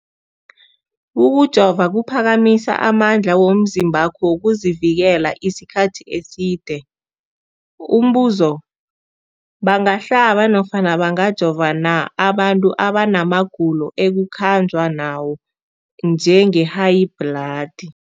Ukujova kuphakamisa amandla womzimbakho wokuzivikela isikhathi eside. Umbuzo, bangahlaba nofana bangajova na abantu abana magulo ekukhanjwa nawo, njengehayibhladi?